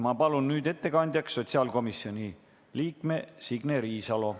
Ma palun nüüd ettekandjaks sotsiaalkomisjoni liikme Signe Riisalo.